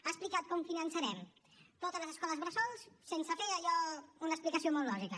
ha explicat com finançarem totes les escoles bressol sense fer allò una explicació molt lògica